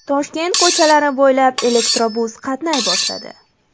Toshkent ko‘chalari bo‘ylab elektrobus qatnay boshladi .